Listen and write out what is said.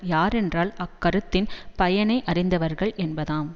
யாரென்றால் அக்கருத்தின் பயனையறிந்தவர்கள் என்பதாம்